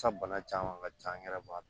bana caman ka ca an yɛrɛ b'a dɔn